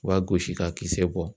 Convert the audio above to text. U b'a gosi k'a kisɛ bɔ.